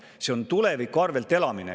See on tuleviku arvel elamine.